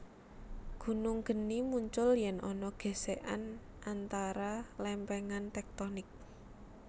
Gunung geni muncul yèn ana gèsèkan antara lèmpèngan tèktonik